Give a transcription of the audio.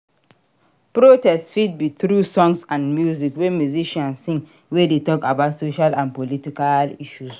Protests fit be through songs and music wey musician sing wey de talk about social and political issues